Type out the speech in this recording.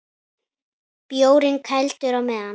Bjórinn kældur á meðan.